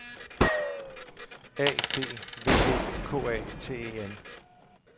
A D V O K A T E N